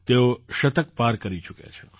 તેઓ શતક પાર કરી ચૂક્યાં છે